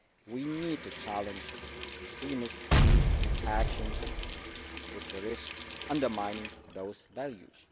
We need to challenge extremist views and actions which risk undermining those values.